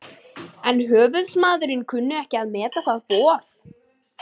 En höfuðsmaðurinn kunni ekki að meta það boð.